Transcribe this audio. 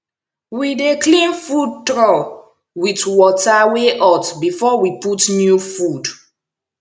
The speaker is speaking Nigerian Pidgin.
we dey clean food trough with water wey hot before we put new food